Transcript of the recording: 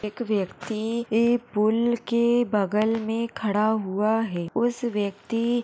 एक व्यक्ति एक पूल के बगल मे खड़ा हुआ हैं उस व्यक्ति--